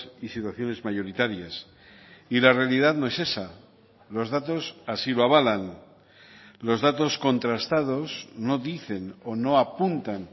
y situaciones mayoritarias y la realidad no es esa los datos así lo avalan los datos contrastados no dicen o no apuntan